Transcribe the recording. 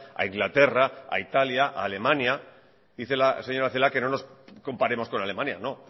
a inglaterra a italia a alemania dice la señora celaá que no nos comparemos con alemania no